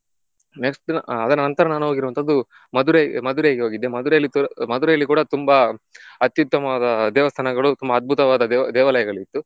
Next ಅದರ ನಂತರ ನಾನ್ ಹೋಗಿರುವವಂತದ್ದು ಮದುರೈ ಮದುರೈಗೆ ಹೊಗಿದ್ದೆ. ಮದುರೈಯಲ್ಲಿ ಮದುರೈಲಿ ಕೂಡ ತುಂಬಾ ಅತ್ಯುತ್ತಮವಾದ ದೇವಸ್ಥಾನಗಳು ತುಂಬ ಅದ್ಬುತವಾದ ದೇವಾ~ ದೇವಾಲಯಗಳು ಇತ್ತು .